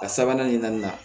A sabanan nin na nin na